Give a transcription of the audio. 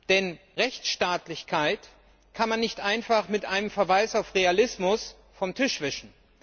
Denn Rechtsstaatlichkeit kann man nicht einfach mit einem Verweis auf Realismus vom Tisch wischen.